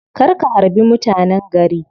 Kar ka harbi mutanen gari.